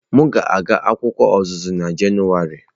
M ga-aga akwụkwọ ọzụzụ na Jenụwarị.